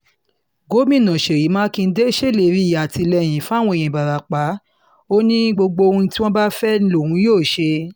gomina ṣeyí mákindè ṣèlérí àtìlẹyìn fáwọn èèyàn ìbarapá ò ní gbogbo ohun tí wọ́n bá fẹ́ lòun yóò ṣe